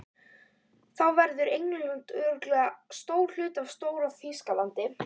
Þá verður England örugglega hluti af Stór-Þýskalandi.